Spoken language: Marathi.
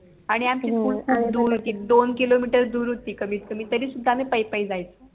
आणि आमची SCHOOL दोन किलोमीटर दूर होती कमीतकमी तरी सुद्धा आम्ही पायी पायी जायचो